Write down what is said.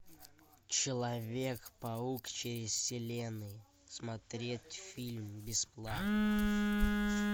человек паук через вселенные смотреть фильм бесплатно